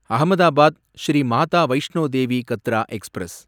Ahmedabad Shri Mata Vaishno Devi Katra express